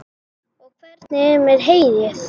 Og hvernig er með heyið?